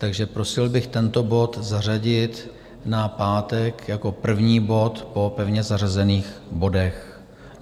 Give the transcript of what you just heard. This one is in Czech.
Takže prosil bych tento bod zařadit na pátek jako první bod po pevně zařazených bodech.